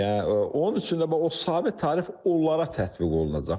Yəni onun üçün də o sabit tarif onlara tətbiq olunacaq.